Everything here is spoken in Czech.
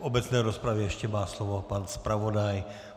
V obecné rozpravě ještě má slovo pan zpravodaj.